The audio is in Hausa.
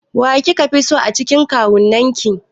Wa kika fi so a cikin kawunnan ki?